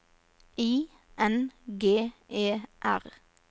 I N G E R